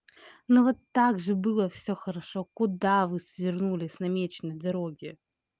ну вот так же было все хорошо куда вы свернули с намеченой дороги